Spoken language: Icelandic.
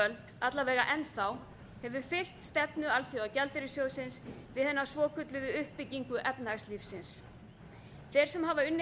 völd alla vega enn þá hefur fylgt stefnu alþjóðagjaldeyrissjóðsins við hina svokölluðu uppbyggingu efnahagslífsins þeir sem hafa unnið